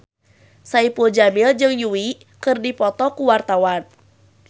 Saipul Jamil jeung Yui keur dipoto ku wartawan